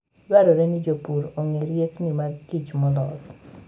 Dwarore ni jopur ong'e riekni mag kich molos.